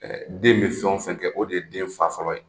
den bɛ fɛn o fɛn kɛ o de ye den fa fɔlɔ ye.